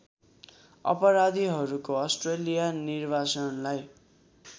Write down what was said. अपराधीहरूको अस्ट्रेलिया निर्वासनलाई